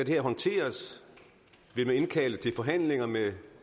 her håndteres vil man indkalde til forhandlinger med